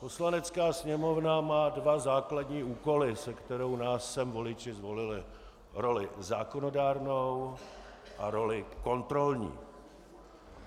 Poslanecká sněmovna má dva základní úkoly, se kterými nás sem voliči zvolili, roli zákonodárnou a roli kontrolní.